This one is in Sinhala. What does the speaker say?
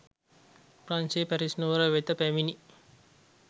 ප්‍රංශයේ පැරිස් නුවර වෙත පැමිණි